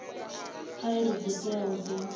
kha iri dzo teaho dzo